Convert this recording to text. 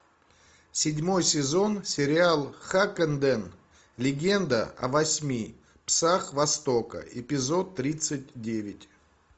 седьмой сезон сериал хаккенден легенда о восьми псах востока эпизод тридцать девять